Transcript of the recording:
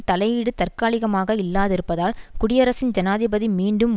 தலையீடு தற்காலிகமாக இல்லாதிருப்பதால் குடியரசின் ஜனாதிபதி மீண்டும்